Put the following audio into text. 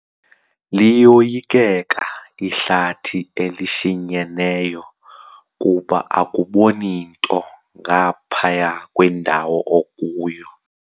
Liyoyikeka ihlathi elishinyeneyo kuba akuboni nto ngaphaya kwendawo okuyo.